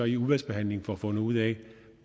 i udvalgsbehandlingen får fundet ud af